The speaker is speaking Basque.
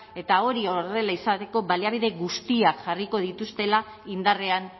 eta hori horrela izateko baliabide guztiak jarriko dituztela indarrean